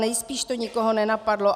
Nejspíš to nikoho nenapadlo.